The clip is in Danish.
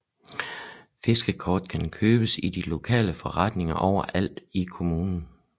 Fiskekort kan købes i de lokale forretninger overalt i kommunen